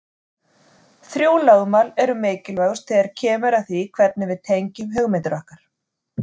Þrjú lögmál eru mikilvægust þegar kemur að því hvernig við tengjum hugmyndir okkar.